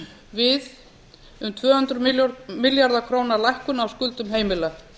við um tvö hundruð milljarða króna lækkun á skuldum heimila